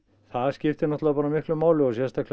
það skiptir náttúrulega miklu máli sérstaklega